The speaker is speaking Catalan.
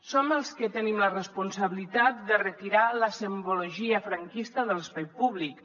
som els que tenim la responsabilitat de retirar la simbologia franquista de l’espai públic